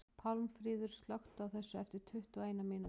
Pálmfríður, slökktu á þessu eftir tuttugu og eina mínútur.